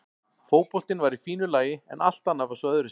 Fótboltinn var í fínu lagi en allt annað var svo öðruvísi.